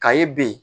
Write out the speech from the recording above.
Ka ye ben